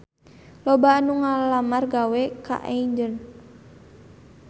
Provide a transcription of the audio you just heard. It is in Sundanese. Loba anu ngalamar gawe ka Aigner